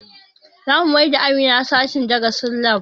Zamu maida Amina sashen darasin lab